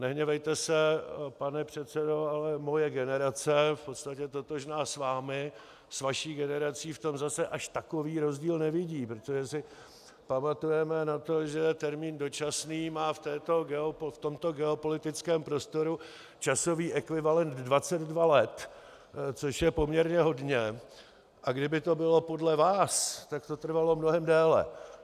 Nehněvejte se, pane předsedo, ale moje generace v podstatě totožná s vámi, s vaší generací, v tom zase až takový rozdíl nevidí, protože si pamatujeme na to, že termín "dočasný" má v tomto geopolitickém prostoru časový ekvivalent 22 let, což je poměrně hodně, a kdyby to bylo podle vás, tak to trvalo mnohem déle.